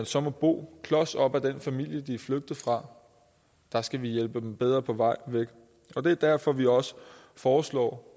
så må bo klos op af den familie de er flygtet fra der skal vi hjælpe dem bedre på vej væk og det er derfor vi også foreslår